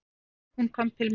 Hún kom til mín.